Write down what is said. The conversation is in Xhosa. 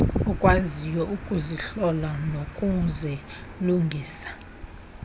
okwaziyo ukuzihlola nokuzilungisa